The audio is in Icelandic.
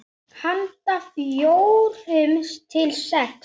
Handa fjórum til sex